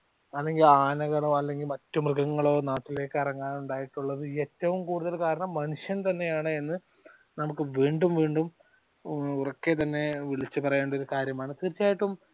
അല്ലെങ്കിൽ ആനകളോ അല്ലെങ്കിൽ മറ്റു മൃഗങ്ങളോ നാട്ടിലേക്ക് ഇറങ്ങാൻ ഉണ്ടായിട്ടുള്ളത് ഏറ്റവും കൂടുതൽ കാരണം മനുഷ്യൻ തന്നെ ആണ് എന്ന് നമുക്ക് വീണ്ടും വീണ്ടും ഉറക്കെ തന്നെ വിളിച്ചു പറയേണ്ട ഒരു കാര്യമാണ് തീർച്ചയായ്യിട്ടും